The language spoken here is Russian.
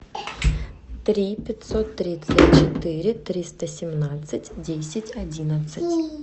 три пятьсот тридцать четыре триста семнадцать десять одиннадцать